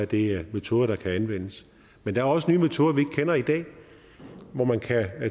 det metoder der kan anvendes men der er også nye metoder vi ikke kender i dag hvor man kan